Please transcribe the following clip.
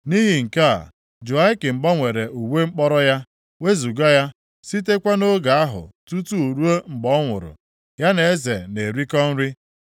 Nʼihi nke a, Jehoiakin gbanwere uwe mkpọrọ ya, wezuga ya. Sitekwa nʼoge ahụ tutu ruo mgbe ọ nwụrụ, ya na eze na-erikọ nri.